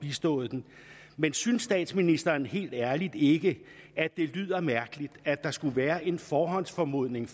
bistået men synes statsministeren helt ærligt ikke at det lyder mærkeligt at der skulle være en forhåndsformodning